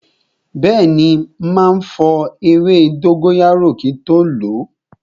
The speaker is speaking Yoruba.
Bẹẹni, ma fọ ewé dóngóyárò kin tó lo